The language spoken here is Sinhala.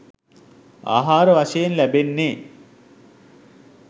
ආහාර වශයෙන් ලැබෙන්නේ